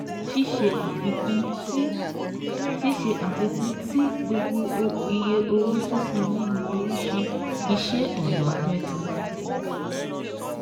Ṣíṣe àfikún tí Ṣíṣe àfikún tí gbogbo iye owó sísan nínú oríṣi iṣẹ́ ọ̀nà mẹ́ta